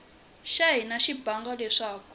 xa hina xa bangi leswaku